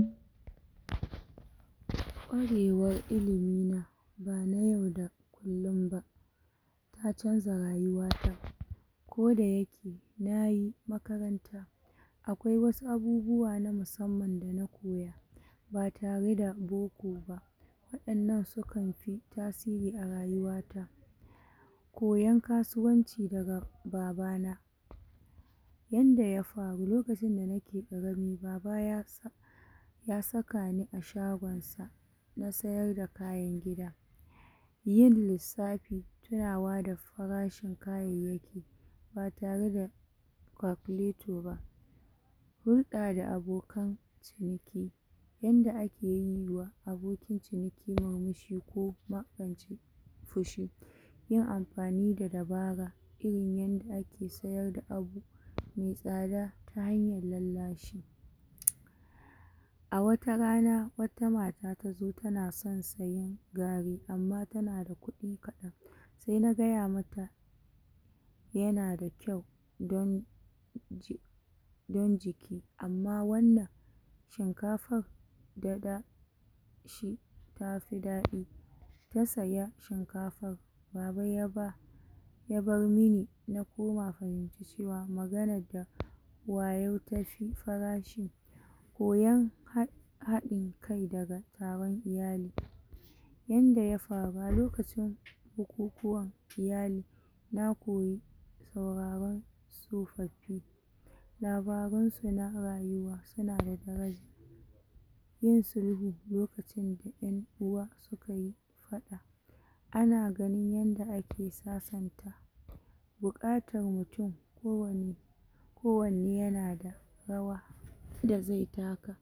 um Kwarewar ilimina ba na yau da kullum ba, ta canja rayuta, koda yake nayi makaranta akwai wasu abubuwa na musamman dana koya ba tareda boko ba. Waɗannan su kanfi tasiri a rayuwata. Koyan kasuwanci daga babana, yanda ya faru lokacin da nake ƙarami, baba yasa ya sakani a shagon na sayar da kayan gida, yin lissafi tinawa da farashin kayayyaki ba tare da kakulato ba, hurɗa da abokan ciniki yanda, ake yiwa aboki cikin murmushi ko kuma fushi, yin amfani da dabara irin yanda ake siyar da abu me tsada ta hanyan lallashi. A wata rana, wata mata tazo ta na sayi gari amma ta na da kuɗi kaɗan se na gaya mata ya na da kyau dan ji don jiki, amma wannan shinkafan da da tafi daɗi ta siya shinkafan. Baba yaba yabar mini na koma fahinta cewa; maganan da wayau tafi farashi koyan haɗin kai, daga tsaran iyali, yanda ya sab lokacin bukukuwan iyali na koyi tauraran tsofaffi labaransu na rayuwa. Su na da daraja yin sulhu lokacin da ƴan uwa su kayi faɗa ana ganin yanda ake sasanta buƙatan mutun ko wani kowanne ya na da rawa da ze taka.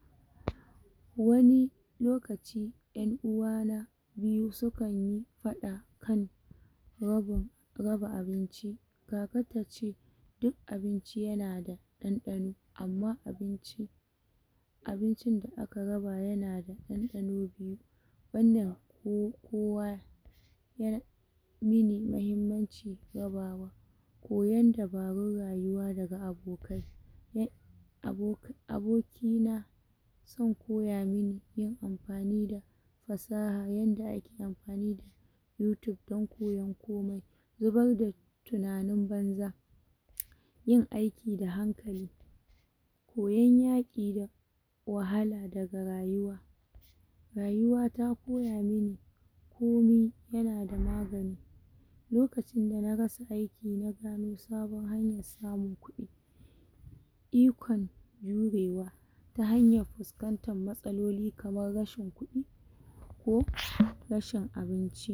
Wani lokaci ƴan uwana biyu su kan yi faɗa kan rabi raba abinci. Kaka tace duk abinci ya na da ɗanɗano amma abinci abincin da aka raba ya na da ɗanɗano biyu. Wannan ko kowa ya mini mahimmanci raba koyan dabarun rayuwa daga abokai ne abo, abokina zan koya mini yin amfani da fasaha yadda ake amfani da yotub dan koyan komai, zubar da tunanin banza um, yin aiki da hankali, koyan yaƙi da wahala daga rayuwa, rayuwa ta koya mini komi ya na da magani lokacin da na rasa aiki na dawo saban hayan samun ƙudi, ikon jurewa ta hanyan fuskantan matsaloli kaman rashi kuɗi ko rashin abinci.